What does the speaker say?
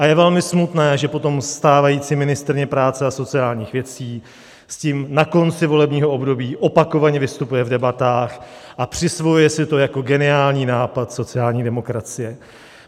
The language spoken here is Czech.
A je velmi smutné, že potom stávající ministryně práce a sociálních věcí s tím na konci volebního období opakovaně vystupuje v debatách a přisvojuje si to jako geniální nápad sociální demokracie.